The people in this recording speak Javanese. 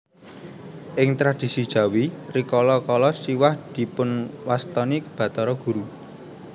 Ing tradhisi Jawi rikala kala Siwah dipunwastani Bathara Guru